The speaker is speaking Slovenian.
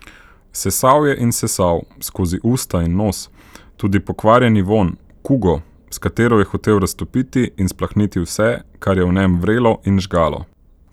Sesal je in sesal, skozi usta in nos, tudi pokvarjeni vonj, kugo, s katero je hotel raztopiti in splahniti vse, kar je v njem vrelo in žgalo.